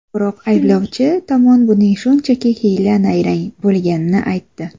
Biroq ayblovchi tomon buning shunchaki hiyla-nayrang bo‘lganini aytdi.